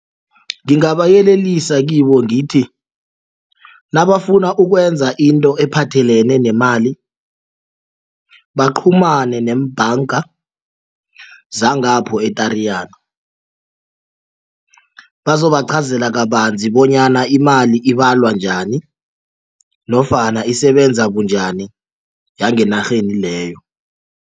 Ngibayelelise kibo ngithi nabafuna ukwenza into ephathelene nemali baqhumane neembhanga zangapho e-Tariyana bazobaqhazela kabanzi bonyana imali ibalwa njani nofana isebenza bunjani yangenarheni leyo.